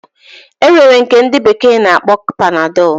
Enwere nke ndi bekee na akpọ panadol.